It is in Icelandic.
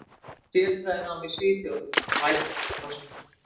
Sérfræðinám í Svíþjóð: Vænn kostur.